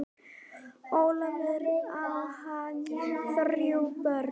Ólafur, á hann þrjú börn.